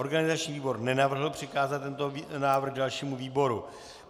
Organizační výbor nenavrhl přikázat tento návrh dalšímu výboru.